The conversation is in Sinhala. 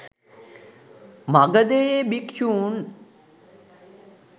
මගධයේ භික්‍ෂූන්